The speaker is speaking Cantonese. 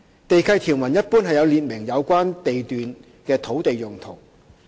地契條文一般有列明有關地段的土地用途。